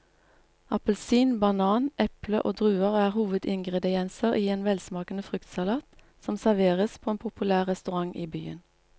Appelsin, banan, eple og druer er hovedingredienser i en velsmakende fruktsalat som serveres på en populær restaurant i byen.